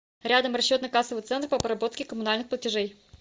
рядом расчетно кассовый центр по обработке коммунальных платежей